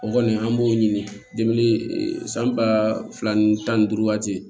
O kɔni an b'o ɲini san ba fila ni tan ni duuru waati